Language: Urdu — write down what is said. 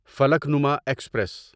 فلکنما ایکسپریس